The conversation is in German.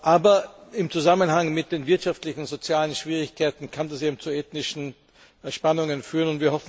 Aber im Zusammenhang mit den wirtschaftlichen und sozialen Schwierigkeiten kann das eben zu ethnischen Spannungen führen.